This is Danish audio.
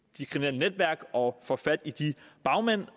netværk og får fat i bagmændene